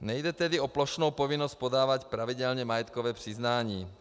Nejde tedy o plošnou povinnost podávat pravidelně majetkové přiznání.